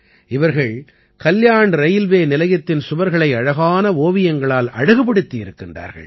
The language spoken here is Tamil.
இவர்கள் கல்யாண் ரயில்வே நிலையத்தின் சுவர்களை அழகான ஓவியங்களால் அழகுபடுத்தி இருக்கின்றார்கள்